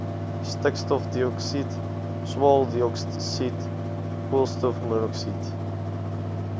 stikstofdioksied swaweldioksied koolstofmonoksied